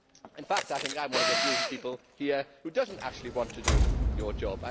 In fact I think I am one of the few people here who do not actually want to do your job.